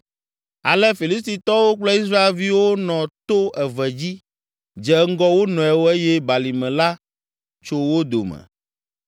Ale Filistitɔwo kple Israelviwo nɔ to eve dzi dze ŋgɔ wo nɔewo eye balime la tso wo dome.